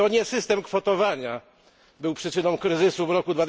To nie system kwotowania był przyczyną kryzysu w roku